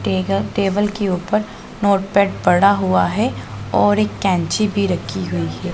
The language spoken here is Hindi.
टेग टेबल के ऊपर नोटपैड पड़ा हुआ है और एक कैंची भी रखी हुई है।